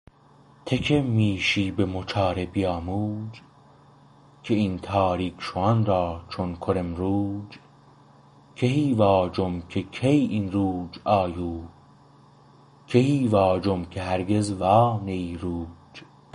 ته که می شی به مو چاره بیاموج که این تاریک شوان را چون کرم روج گهی واجم که کی این روج آیو گهی واجم که هرگز وا نه ای روج